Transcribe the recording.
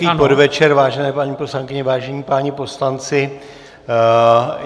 Hezký podvečer, vážené paní poslankyně, vážení páni poslanci.